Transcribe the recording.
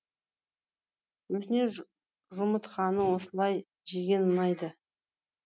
өзіне жұмытқаны осылай жеген ұнайды